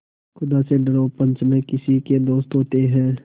खुदा से डरो पंच न किसी के दोस्त होते हैं